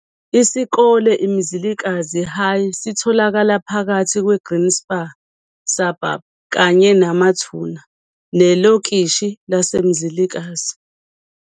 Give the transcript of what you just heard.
Isikole iMzilikazi High sitholakala phakathi kweGreenspan Suburb, kanye namathuna, nelokishi laseMzilikazi.